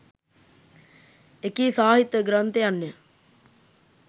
එකී සාහිත්‍ය ග්‍රන්ථයන්ය.